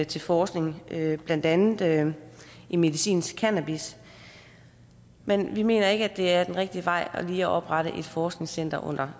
til forskning blandt andet andet i medicinsk cannabis men vi mener ikke at det er den rigtige vej lige at oprette et forskningscenter under